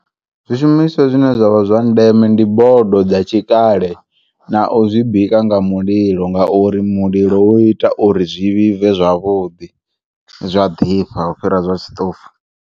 Zwishumiswa zwine zwavha zwa ndeme ndi bodo dza tshikale na u zwibika nga mulilo ngauri mulilo uita uri zwi vhibve zwavhuḓi zwa ḓifha u fhira zwa tshiṱofu.